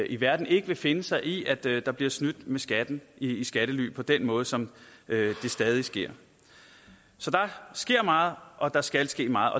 i verden ikke vil finde sig i at der der bliver snydt med skatten i skattely på den måde som det stadig sker så der sker meget og der skal ske meget